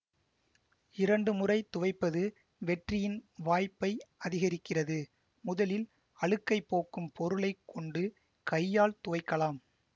இரண்டு முறை துவைப்பது வெற்றியின் வாய்ப்பை அதிகரிக்கிறது முதலில் அழுக்கைப் போக்கும் பொருளை கொண்டு கையால் துவைக்கலாம்